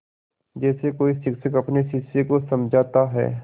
जैसे कोई शिक्षक अपने शिष्य को समझाता है